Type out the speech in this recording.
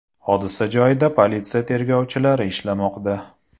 Hodisa joyida politsiya tergovchilari ishlamoqda.